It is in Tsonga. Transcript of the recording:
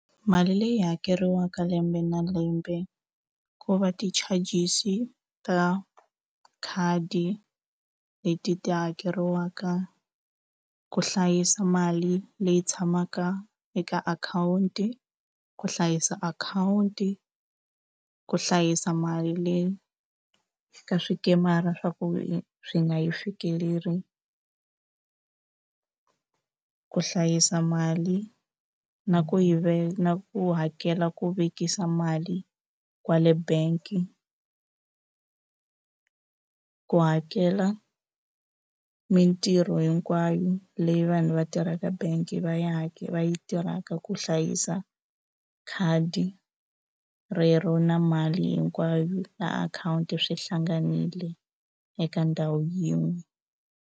Mali leyi hakeriwaka lembe na lembe ko va ti-charges ta khadi leti ti hakeriwaka ku hlayisa mali leyi tshamaka eka akhawunti ku hlayisa akhawunti ku hlayisa mali leyi ka swikemara swa ku swi nga yi fikeleli ku hlayisa mali na ku yi na ku hakela ku vekisa mali kwale bank-i ku hakela mitirho hinkwayo leyi vanhu va tirhaka bank va yi va yi tirhaka ku hlayisa khadi rero na mali hinkwayo na akhawunti swi hlanganile eka ndhawu yin'we.